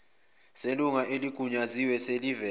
selunga eligunyaziwe seliveze